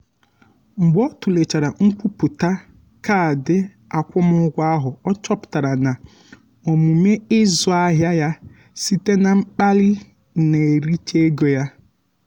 mgbe ọ tụlechara nkwupụta kaadị akwụmụgwọ ahụ ọ chọpụtara na omume ịzụ ahịa ya site na mkpali na-ericha ego ya.